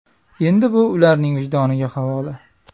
Endi bu ularning vijdoniga havola.